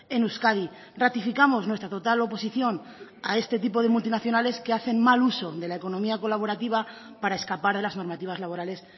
en euskadi ratificamos nuestra total oposición a este tipo de multinacionales que hacen mal uso de la economía colaborativa para escapar a las normativas laborales